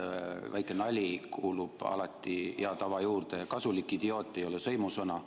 Väike nali kuulub alati hea tava juurde ja "kasulik idioot" ei ole sõimusõna.